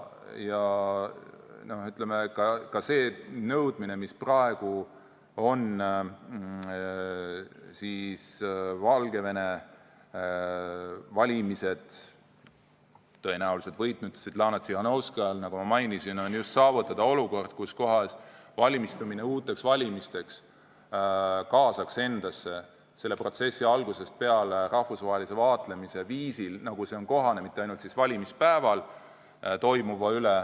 Valgevene valimised tõenäoliselt võitnud Svetlana Tsihhanovskaja nõudmine, nagu ma mainisin, ongi saavutada olukord, et valmistumine uuteks valimisteks kaasaks protsessi algusest peale rahvusvahelise vaatlemise mitte ainult valimispäeval toimuva üle.